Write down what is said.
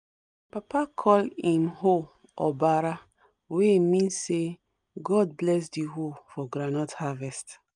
papa call him hoe obara wey mean say god bless the hoe for groundnut harvest